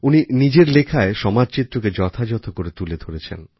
উনি নিজের লেখায় সমাজচিত্রকে যথাযথ তুলে ধরেছেন